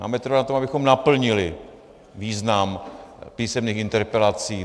Máme trvat na tom, abychom naplnili význam písemných interpelací.